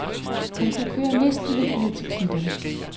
Han kunne køre næsten helt ned til klitterne.